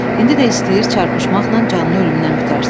İndi də istəyir çarpışmaqla canını ölümdən qurtarsın.